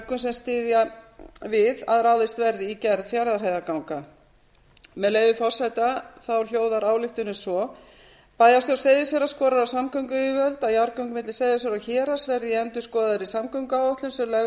styðja við að ráðist verði í gerð fjarðarheiðarganga með leyfi forseta hljóðar ályktunin svo bæjarstjórn seyðisfjarðar skorar á samgönguyfirvöld að jarðgöng milli seyðisfjarðar og héraðs verði í endurskoðaðri samgönguáætlun sem lögð verður